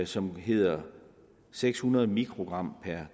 som hedder seks hundrede mikrogram per